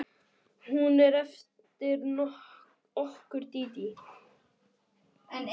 Hún er eftir okkur Dídí.